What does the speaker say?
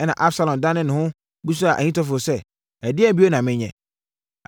Ɛnna Absalom danee ne ho bisaa Ahitofel sɛ, “Ɛdeɛn bio na menyɛ?”